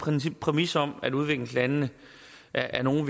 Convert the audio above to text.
præmis om at udviklingslandene er nogle